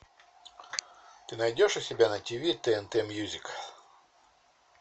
ты найдешь у себя на тиви тнт мьюзик